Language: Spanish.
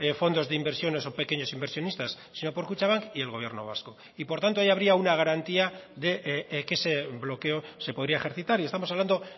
fondos de inversiones o pequeños inversionistas sino por kutxabank y el gobierno vasco y por tanto ahí habría una garantía de que ese bloqueo se podría ejercitar y estamos hablando